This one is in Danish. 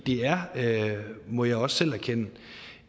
er må jeg også selv erkende